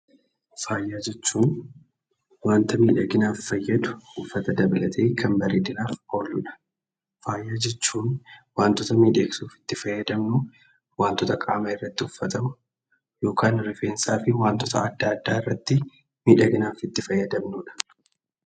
Faaya jechuun wanta miidhaginaaf fayyadu uffata dabalatee kan bareedinaaf ooludha. Faaya jechuun wantota miidhagsuuf itti fayyadamnu wantota qaama irratti uffatamu yokaan rifeensaa fi wantoota adda addaa irrattii miidhaginaaf itti fayyadamnudha.